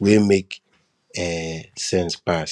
wey make um sense pass